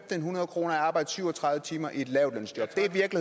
hundrede kroner ud af at arbejde syv og tredive timer i et lavtlønsjob